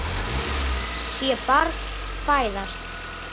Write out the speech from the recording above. Sé barn fæðast.